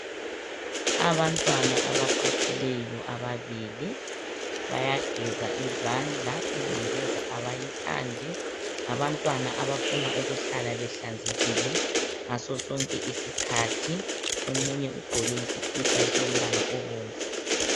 Abantwana abaquthileyo ababili bayageza izandla ingcekeza abayithandi ngabantwana abafuna ukuhlala behlanzekile ngasosonke isikhathi omunye ugqoke isikipa esilombala obomvu.